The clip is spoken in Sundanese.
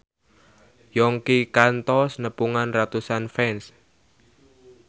Yongki kantos nepungan ratusan fans